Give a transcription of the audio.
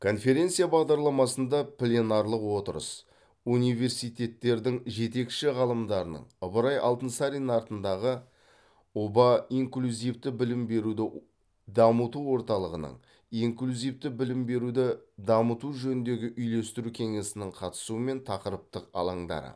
конференция бағдарламасында пленарлық отырыс университеттердің жетекші ғалымдарының ыбырай алтынсарин атындағы ұба инклюзивті білім беруді дамыту орталығының инклюзивті білім беруді дамыту жөніндегі үйлестіру кеңесінің қатысуымен тақырыптық алаңдары